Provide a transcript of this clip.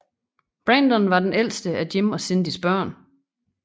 Brandon var det ældeste af Jim og Cindys børn